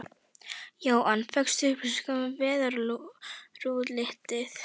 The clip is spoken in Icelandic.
Jóhann: Fékkstu upplýsingar um veðurútlitið?